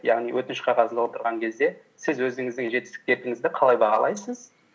яғни өтініш қағазын толтырған кезде сіз өзіңіздің жетістіктеріңізді қалай бағалайсыз